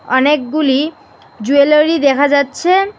অনেকগুলি জুয়েলারি দেখা যাচ্ছে।